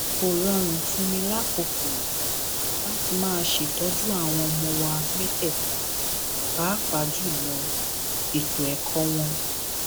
kò rọrùn fún mi lákòókò yìí láti máa ṣètọjú àwọn ọmọ wa mẹtẹẹta pàápàá jù lọ ètò ẹkọ wọn